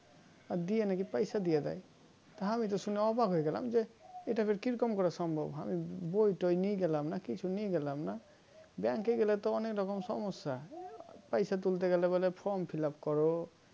দিয়ে নাকি পয়সাও দিয়ে দেয় তা আমি তো শুনে অবাক হয়ে গেলাম যে এটা আবার কিরকম করে সম্ভব হামি বই টয় নিয়ে গেলাম না কিছু নিয়ে গেলাম না Bank এ গেলে তো অনেক রকম সমস্যা পয়সা তুলতে গেলে বলে Form fill up করো